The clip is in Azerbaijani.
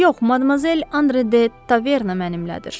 Yox, madmazel Andre de Taverna mənimlədir.